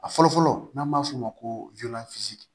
A fɔlɔ fɔlɔ n'an b'a f'o ma ko